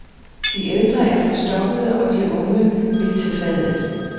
De ældre er forstokkede og de unge vil til fadet.